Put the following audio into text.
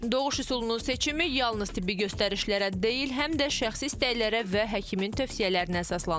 Doğuş üsulunu seçimi yalnız tibbi göstərişlərə deyil, həm də şəxsi istəklərə və həkimin tövsiyələrinə əsaslanır.